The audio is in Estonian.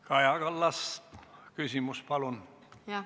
Kaja Kallas, küsimus, palun!